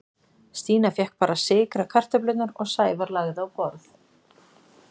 Stína fékk bara að sykra kartöflurnar og Sævar lagði á borð.